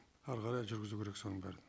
ары қарай жүргізу керек соның бәрін